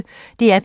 DR P1